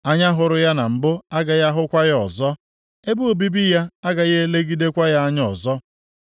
Anya hụrụ ya na mbụ agaghị ahụkwa ya ọzọ, ebe obibi ya agaghị elegidekwa ya anya ọzọ.